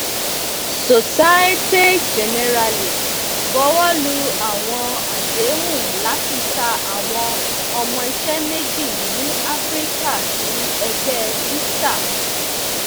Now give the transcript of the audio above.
societe generale buwọlu awọn adehun lati ta awọn ọmọiṣẹ meji ni afirika si ẹgbẹ vista